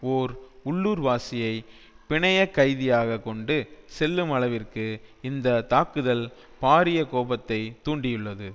ஓர் உள்ளூர்வாசியை பிணையகைதியாக கொண்டு செல்லும் அளவிற்கு இந்த தாக்குதல் பாரிய கோபத்தை தூண்டியுள்ளது